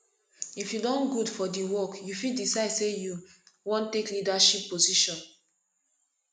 if you don good for di work you fit decide sey you wan take leadership position